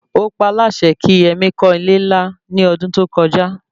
Ó paá láṣẹ kí Yemí kọ́ ilé-ńlá ní ọdún tó kọjá